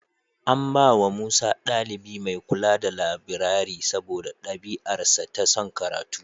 An bawa Musa ɗalibi mai kula da labirari saboda ɗabi'arsa ta son karatu.